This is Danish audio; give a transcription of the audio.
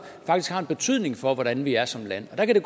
faktisk har en betydning for hvordan vi er som land der kan det